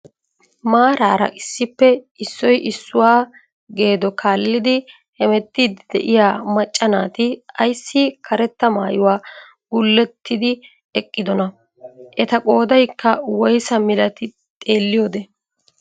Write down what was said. Maarara issippe issoy issuwaa geedo kaallidi hemettiidi de'iyaa macca naati ayssi karetta maayuwaa gullettidi eqqidonaa? eta qoodaykka woysa milatii xeelliyoode?